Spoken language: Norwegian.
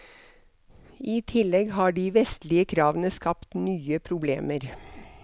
I tillegg har de vestlige kravene skapt nye problemer.